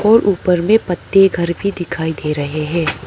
और ऊपर में पत्ते घर भी दिखाई दे रहे हैं।